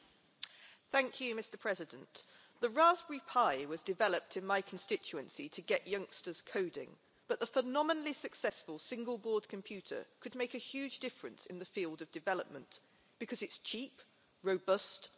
Mr President, the Raspberry Pi was developed in my constituency to get youngsters coding, but the phenomenally successful single board computer could make a huge difference in the field of development because it's cheap, robust and low power.